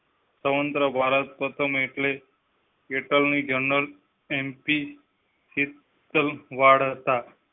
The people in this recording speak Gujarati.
ભારત પ્રથમ એટલે attorney general MP વાળ હતા